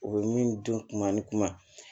U bɛ min dɔn kuma ni kuma